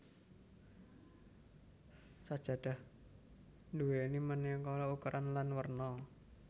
Sajadah nduwéni manéka ukuran lan werna